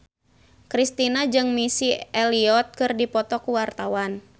Kristina jeung Missy Elliott keur dipoto ku wartawan